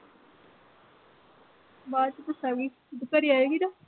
ਬਾਦ ਚ ਦੱਸਾਂਗੀ ਘਰੇ ਆਏਗੀ ਨਾ